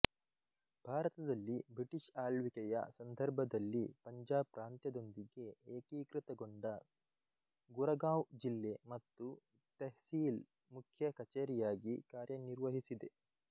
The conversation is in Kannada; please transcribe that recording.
ಭಾರತದಲ್ಲಿ ಬ್ರಿಟಿಷ್ ಆಳ್ವಿಕೆಯ ಸಂದರ್ಭದಲ್ಲಿ ಪಂಜಾಬ್ ಪ್ರಾಂತ್ಯದೊಂದಿಗೆ ಏಕೀಕೃತಗೊಂಡ ಗುರಗಾಂವ್ ಜಿಲ್ಲೆ ಮತ್ತು ತೆಹ್ಸೀಲ್ ಮುಖ್ಯ ಕಚೇರಿಯಾಗಿ ಕಾರ್ಯನಿರ್ವಹಿಸಿದೆ